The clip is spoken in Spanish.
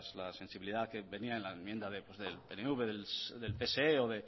la sensibilidad que tenía la enmienda del pnv del pse o